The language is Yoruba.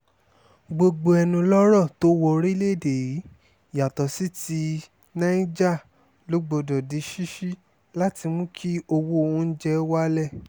gbogbo ẹnulọ́rọ̀ tó wọ orílẹ̀‐èdè yìí yàtọ̀ sí ti niger ló gbọdọ̀ di ṣíṣí láti mú kí owó oúnjẹ wálẹ̀